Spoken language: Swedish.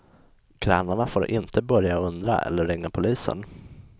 Grannarna får inte börja undra eller ringa polisen.